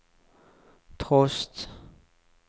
trost